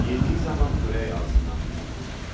Yediyi zaman xörək ağzından tökülürdü.